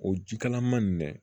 O ji kalaman nin dɛ